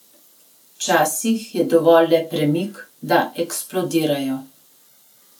Včasih je dovolj le premik, da eksplodirajo.